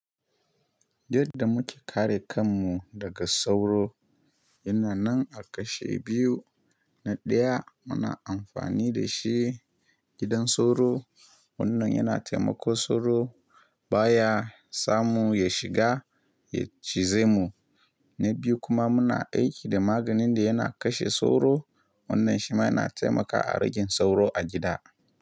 Yadda muke kare kanmu daga sauro yana nan a kashe biyu. Na ɗaya muna amfani da shi gidan sauro. Wannan yana taimako sauro baya samu ya shiga ya cize mu. Na biyu kuma muna aiki da maganin da yana kashe sauro. Wannan shi ma yana taimakawa a ragin sauro a gida.